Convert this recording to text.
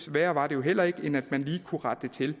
værre var det jo heller ikke end at man lige kunne rette det til